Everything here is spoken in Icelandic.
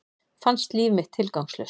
Fannst líf mitt tilgangslaust.